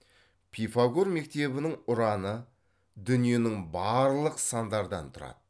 пифагор мектебінің ұраны дүниенің барлық сандардан тұрады